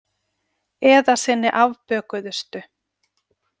Eða sinni afbökuðustu.